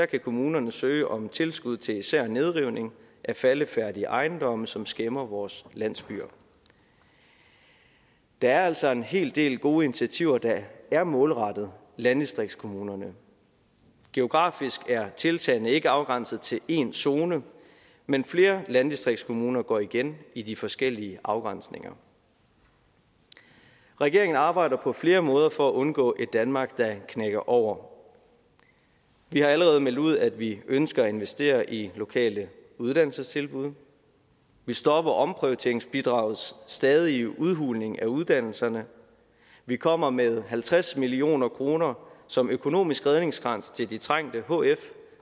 kan kommunerne søge om tilskud til især nedrivning af faldefærdige ejendomme som skæmmer vores landsbyer der er altså en hel del gode initiativer der er målrettet landdistriktskommunerne geografisk er tiltagene ikke afgrænset til én zone men flere landdistriktskommuner går igen i de forskellige afgrænsninger regeringen arbejder på flere måder for at undgå et danmark der knækker over vi har allerede meldt ud at vi ønsker at investere i lokale uddannelsestilbud vi stopper omprioriteringsbidragets stadige udhuling af uddannelserne vi kommer med halvtreds million kroner som økonomisk redningskrans til de trængte hf